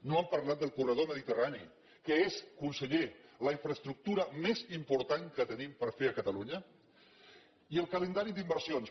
no han parlat del corredor mediterrani que és conseller la infraestructura més important que tenim per fer a catalunya i el calendari d’inversions